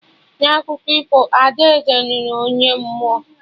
Na akụkọ ifo, Ada Eze nụrụ onye mmụọ "